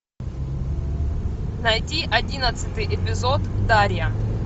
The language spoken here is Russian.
найди одиннадцатый эпизод дарья